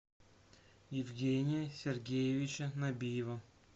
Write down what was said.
евгения сергеевича набиева